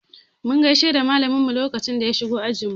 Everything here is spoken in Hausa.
Mun gaishe da malamin mu lokacin da ya shigo ajin mu.